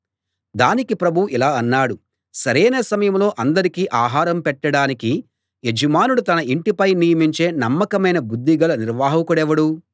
దానికి ప్రభువు ఇలా అన్నాడు సరైన సమయంలో అందరికీ ఆహారం పెట్టడానికి యజమానుడు తన ఇంటిపై నియమించే నమ్మకమైన బుద్ధిగల నిర్వాహకుడెవడు